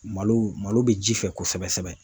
Malo malo be ji fɛ kosɛbɛ sɛbɛ